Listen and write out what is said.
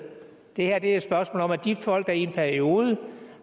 det her er et spørgsmål om at de folk der i en periode